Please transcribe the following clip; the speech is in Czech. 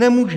Nemůže.